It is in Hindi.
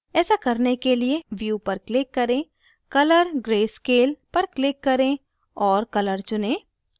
ऐसा करने के लिए view पर click करें color/grayscale पर click करें और color चुनें